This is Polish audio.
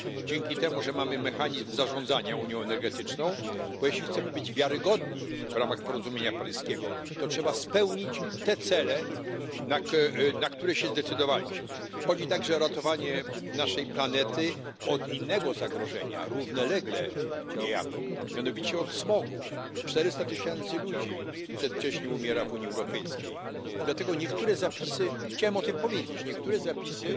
Dzięki temu, że mamy mechanizm zarządzania unią energetyczną, bo jeśli chcemy być wiarygodni w ramach porozumienia paryskiego, to trzeba spełnić te cele, na które się zdecydowaliśmy. Chodzi także o ratowanie naszej planety od innego zagrożenia, równolegle niejako, mianowicie od smogu. Czterysta tysięcy ludzi przedwcześnie umiera w Unii Europejskiej i dlatego niektóre zapisy, chciałem o tym powiedzieć, niektóre zapisy